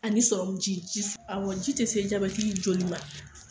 Ani sɔrɔmu ji, awɔ, ji tɛ se jabatitɔ joli ma.